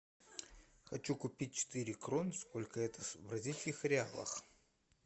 хочу купить четыре крон сколько это в бразильских реалах